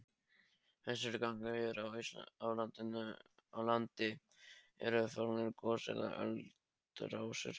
Flestir gangar hér á landi eru fornar gos- eða eldrásir.